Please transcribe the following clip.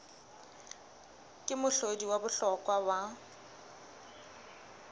ke mohlodi wa bohlokwa wa